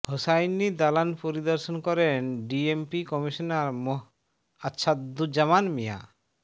হোসাইনী দালান পরিদর্শন করেন DMP commissioner মোঃ আছাদুজ্জামান মিয়া